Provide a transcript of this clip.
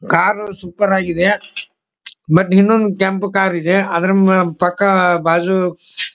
car super ಆಗಿದೆ but ಇನ್ನೊಂದು ಕೆಂಪು ಕಾರಿದೆ ಅದ್ರ ಪಕ್ಕ ಬಾಜು --